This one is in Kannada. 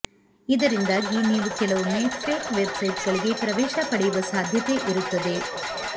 ಇದರಿಂದಾಗಿ ನೀವು ಕೆಲವೊಮ್ಮೆ ಫೇಕ್ ವೆಬ್ಸೈಟ್ಗಳೆ ಪ್ರವೇಶ ಪಡೆಯುವ ಸಾಧ್ಯತೆ ಇರುತ್ತದೆ